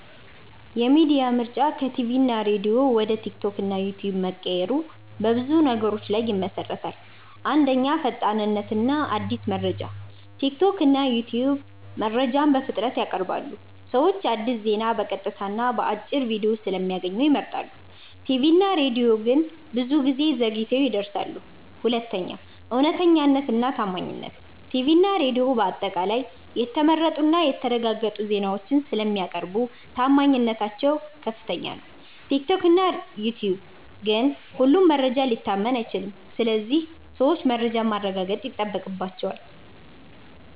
የሚዲያ ምርጫ ከቲቪ እና ሬዲዮ ወደ ቲክቶክ እና ዩትዩብ መቀየሩ በብዙ ነገሮች ላይ ይመሠረታል። 1. ፈጣንነት እና አዲስ መረጃ ቲክቶክ እና ዩትዩብ መረጃን በፍጥነት ያቀርባሉ። ሰዎች አዲስ ዜና በቀጥታ እና በአጭር ቪዲዮ ስለሚያገኙ ይመርጣሉ። ቲቪ እና ሬዲዮ ግን ብዙ ጊዜ ዘግይተው ይደርሳሉ። 2. እውነተኛነት እና ታማኝነት ቲቪ እና ሬዲዮ በአጠቃላይ የተመረጡ እና የተረጋገጡ ዜናዎችን ስለሚያቀርቡ ታማኝነታቸው ከፍ ነው። ቲክቶክ እና ዩትዩብ ግን ሁሉም መረጃ ሊታመን አይችልም ስለዚህ ሰዎች መረጃን ማረጋገጥ ይጠበቅባቸዋል።